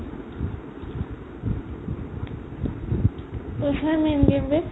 পইচাইয়ে main game be